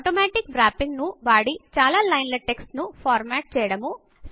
automatic wrapping auto వ్ర్యప్పింగ్ను వాడి చాలా లైన్ల టెక్స్ట్ ను ఫార్మాట్ చేయడము